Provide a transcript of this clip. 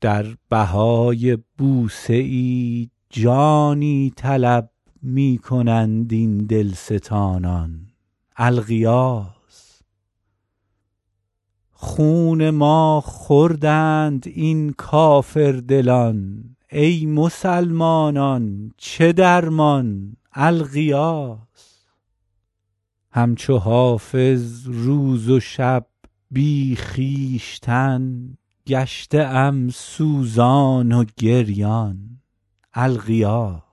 در بهای بوسه ای جانی طلب می کنند این دلستانان الغیاث خون ما خوردند این کافردلان ای مسلمانان چه درمان الغیاث هم چو حافظ روز و شب بی خویشتن گشته ام سوزان و گریان الغیاث